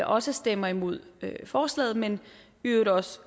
også stemmer imod forslaget men i øvrigt også